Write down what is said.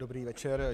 Dobrý večer.